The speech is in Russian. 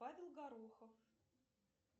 павел горохов